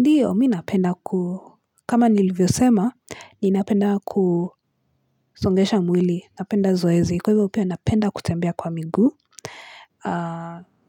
Ndiyo, mimi napenda ku, kama nilivyo sema, ninapenda kusongesha mwili, napenda zoezi, kwa hivyo pia napenda kutembea kwa miguu,